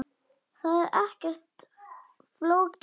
Það er ekkert flókið.